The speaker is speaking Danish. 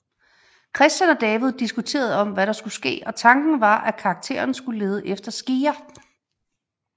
Christian og David diskuterede om hvad der skulle ske og tanken var at karakteren skulle lede efter skeer